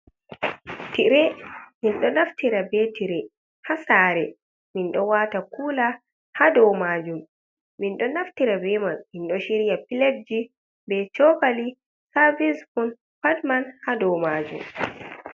Tire, mindo naftira be tire hasare mindo wata kula ha dow majun, min do naftira beman min do shirya pilat ji be cokali sarvis spun patman ha dow majunm.